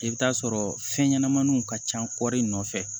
I bɛ t'a sɔrɔ fɛn ɲɛnamaninw ka ca kɔɔri in nɔfɛ